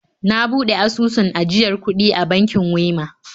Na buɗe asusun ajiyar kuɗi a bankin Wema